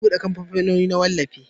za a bude kamfanoni na wallafi